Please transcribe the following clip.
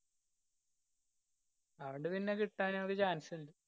അതോണ്ട് പിന്നെ കിട്ടാനൊരു chance ഇണ്ട്.